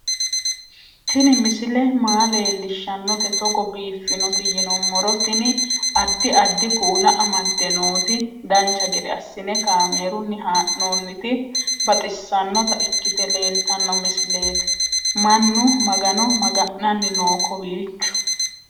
Tini misile maa leellishshannote togo biiffinoti yinummoro tini. addi addi kuula amadde nooti dancha gede assine kaamerunni haa'noonniti baxissannota ikkite leeltanno misileeti mannu magano maga'nanni noo kowiicho